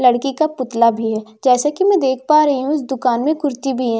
लड़की का पुतला भी है जैसे की मैं देख पा रही हूं इस दुकान में कुर्ती भी है।